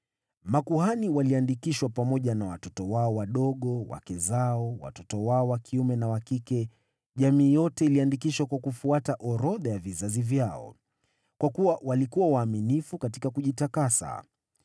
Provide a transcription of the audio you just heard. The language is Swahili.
Makuhani waliandikishwa pamoja na watoto wao wadogo, wake zao, watoto wao wa kiume na wa kike, jamii yote iliandikishwa kwa kufuata orodha ya vizazi vyao. Kwa kuwa walikuwa waaminifu katika kujitakasa.